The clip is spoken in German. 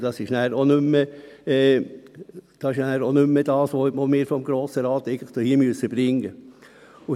Das ist dann auch nicht mehr das, was wir seitens des Grossen Rates eigentlich bringen müssen.